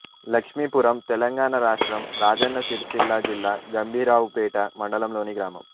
లక్ష్మీపురం తెలంగాణ రాష్ట్రం రాజన్న సిరిసిల్ల జిల్లా గంభీరావుపేట మండలంలోని గ్రామం